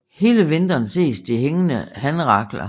Hele vinteren ses de hængende hanrakler